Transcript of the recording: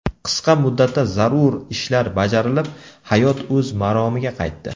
Qisqa muddatda zarur ishlar bajarilib, hayot o‘z maromiga qaytdi .